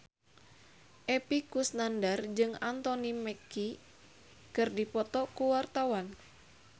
Epy Kusnandar jeung Anthony Mackie keur dipoto ku wartawan